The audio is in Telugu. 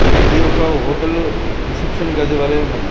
ఇది ఒక హోటల్ రిసెప్షన్ గది వలే ఉన్నది.